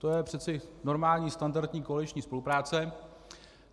To je přece normální standardní koaliční spolupráce.